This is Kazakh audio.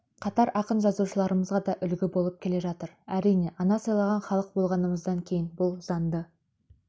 қатар ақын-жазушыларымызға да үлгі болып келе жатыр әрине ана сыйлаған халық болғанымыздан кейін бұл заңды